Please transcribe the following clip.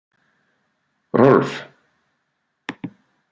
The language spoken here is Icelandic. Rolf